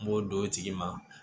N b'o d'o tigi ma